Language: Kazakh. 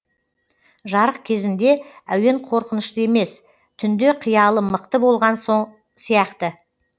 жарық кезінде әуен қорқынышты емес түнде қиялым мықты болған сияқты